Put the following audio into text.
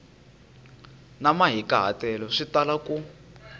na mahikahatelo swi tala ku